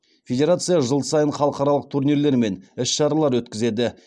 федерация жыл сайын халықаралық турнирлер мен іс шаралар өткізеді